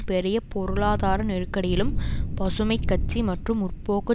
பெரிய பொருளாதார நெருக்கடியிலும் பசுமை கட்சி மற்றும் முற்போக்கு